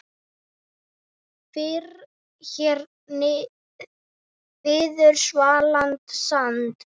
Fyrr hér viður svalan sand